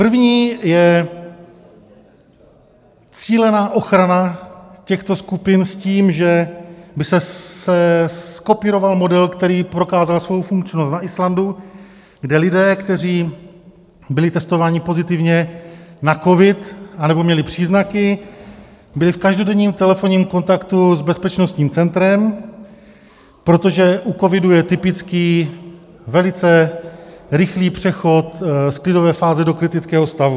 První je cílená ochrana těchto skupin s tím, že by se zkopíroval model, který prokázal svou funkčnost na Islandu, kde lidé, kteří byli testováni pozitivně na covid anebo měli příznaky, byli v každodenním telefonním kontaktu s bezpečnostním centrem, protože u covidu je typický velice rychlý přechod z klidové fáze do kritického stavu.